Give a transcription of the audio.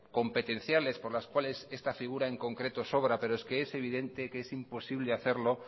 competenciales por las cuales esta figura en concreto sobra pero es evidente que es imposible hacerlo